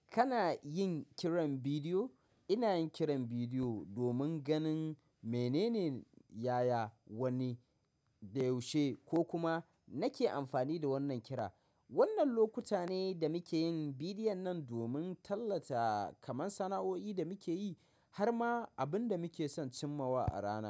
Kana yin kiran bidiyo? Ina yin kiran bidiyo domin ganin menene, yaya, wanne, da yaushe ko kuma nake amfani da wannan kira. Wannan lokuta ne da muke yin bidiyon nan domin tallata kaman sana'o'i da muke yi har ma abin da muke son cimma wa a rana.